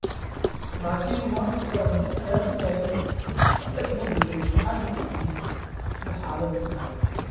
Laakiin muwaasiin Faransiis ayaa ku daray: "Waxba isma bedelin, waxaadna ogtihiin sida xaaladdu tahay."